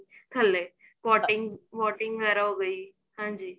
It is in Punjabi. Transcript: ਥਲੇ boating's boating ਵਗੈਰਾ ਹੋ ਗਈ ਹਾਂਜੀ